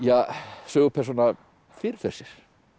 sögupersóna fyrirfer sér hér í